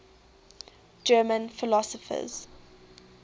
german philosophers